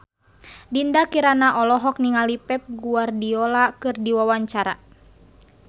Dinda Kirana olohok ningali Pep Guardiola keur diwawancara